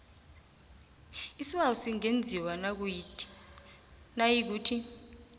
isibawo singenziwa nayikuthi